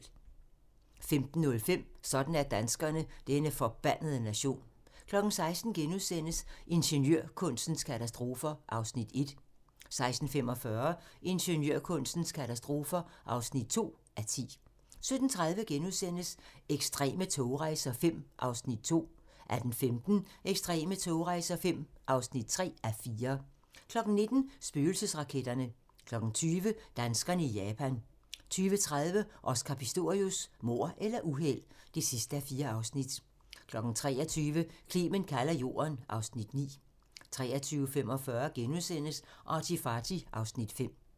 15:05: Sådan er danskerne: Denne forbandede nation 16:00: Ingeniørkunstens katastrofer (1:10)* 16:45: Ingeniørkunstens katastrofer (2:10) 17:30: Ekstreme togrejser V (2:4)* 18:15: Ekstreme togrejser V (3:4) 19:00: Spøgelsesraketterne 20:00: Danskerne i Japan 20:30: Oscar Pistorius: Mord eller uheld? (4:4) 23:00: Clement kalder jorden (Afs. 9) 23:45: ArtyFarty (Afs. 5)*